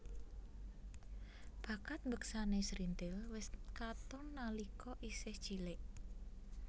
Bakat mbeksané srintil wis katon nalika isih cilik